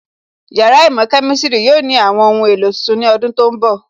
Yàrá īmò Kemistiri yóò ní àwọn ohun èlò tuntun ní ọdún tó ń bọ̀